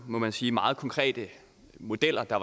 må man sige meget konkrete modeller der